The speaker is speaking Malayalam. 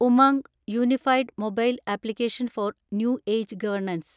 UMANG – unified mobile application for new age governance